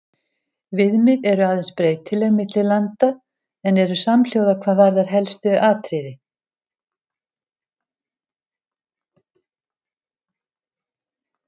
Viðmið eru aðeins breytileg milli landa en eru samhljóða hvað varðar helstu atriði.